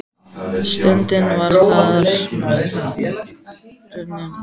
Stundin var þar með runnin upp.